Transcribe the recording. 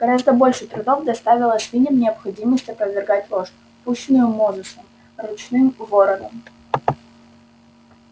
гораздо больше трудов доставила свиньям необходимость опровергать ложь пущенную мозусом ручным вороном